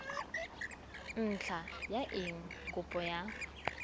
ntlha ya eng kopo ya